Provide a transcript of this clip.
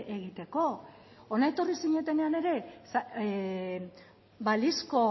egiteko hona etorri zinetenean ere balizko